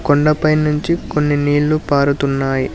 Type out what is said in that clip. కొండపై నుంచి కొన్ని నీళ్లు పారుతున్నాయి.